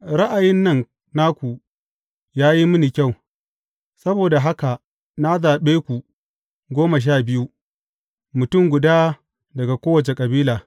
Ra’ayin nan naku ya yi mini kyau, saboda haka na zaɓe ku goma sha biyu, mutum guda daga kowace kabila.